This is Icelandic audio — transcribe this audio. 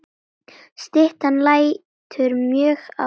Styttan lætur mjög á sjá.